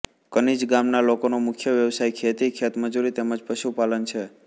કનીજ ગામના લોકોનો મુખ્ય વ્યવસાય ખેતી ખેતમજૂરી તેમ જ પશુપાલન છે